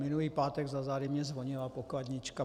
Minulý pátek za zády mně zvonila pokladnička.